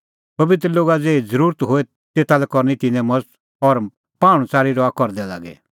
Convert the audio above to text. पबित्र लोगा ज़ेही ज़रुरत होए तेता लै करनी तिन्नें मज़त और पाहुंणच़ारी रहा करदै लागी